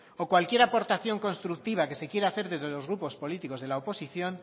o cualquier aportación constructiva que se quiera hacer desde los grupos políticos de la oposición